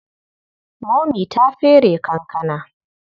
Momi ta fere kankana.